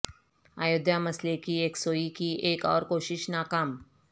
ایودھیا مسئلہ کی یکسوئی کی ایک اور کوشش ناکام